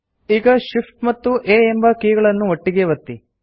ಈಗ Shift ಮತ್ತು A ಎಂಬ ಕೀಗಳನ್ನು ಒಟ್ಟಿಗೇ ಒತ್ತಿ